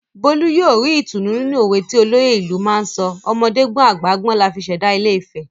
Bólú yóò ri ìtùnú nínú òwe ti olóyè ìlú náà sọ "ọmọdé gbọ́n àgbà gbọ́n la fi ṣẹ̀dá ilé-ifẹ̀"